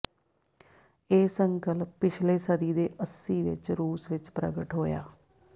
ਇਹ ਸੰਕਲਪ ਪਿਛਲੇ ਸਦੀ ਦੇ ਅੱਸੀ ਵਿਚ ਰੂਸ ਵਿਚ ਪ੍ਰਗਟ ਹੋਇਆ